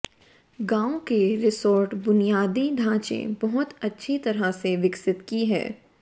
गांव के रिसोर्ट बुनियादी ढांचे बहुत अच्छी तरह से विकसित की है